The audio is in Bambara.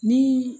Ni